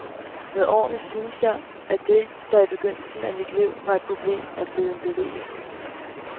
Med årene synes jeg, at det, der i begyndelsen af mit liv var et problem, er blevet en berigelse.